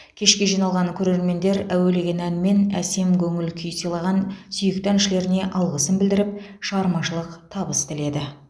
кешке жиналған көрермендер әуелеген әнмен әсем көңіл көңіл күй сыйлаған сүйікті әншілеріне алғысын білдіріп шығармашылық табыс тіледі